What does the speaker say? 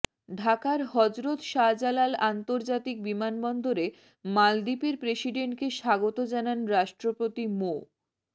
ঢাকার হজরত শাহজালাল আন্তর্জাতিক বিমানবন্দরে মালদ্বীপের প্রেসিডেন্টকে স্বাগত জানান রাষ্ট্রপতি মো